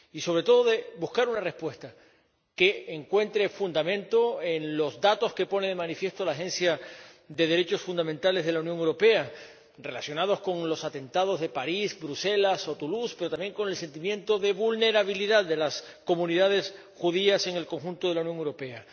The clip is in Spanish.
Y, sobre todo, de buscar una respuesta que encuentre fundamento en los datos que pone de manifiesto la Agencia de los Derechos Fundamentales de la Unión Europea relacionados con los atentados de París, Bruselas o Toulouse, pero también con el sentimiento de vulnerabilidad de las comunidades judías en el conjunto de la Unión Europea.